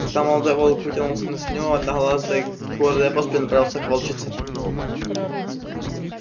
когда молодой волк вытянулся на снегу одноглазый гордой поступью направился к волчице